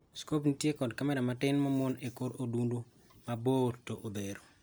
Scope nitie kod kamera matin ma omuon e kor odundu ma bor to odhero.